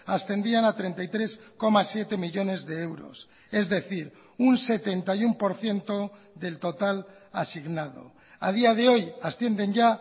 ascendían a treinta y tres coma siete millónes de euros es decir un setenta y uno por ciento del total asignado a día de hoy ascienden ya